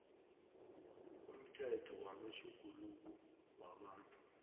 umthetho wamatjhuguluko wabantu